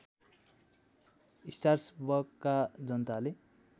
स्टासबर्गका जनताले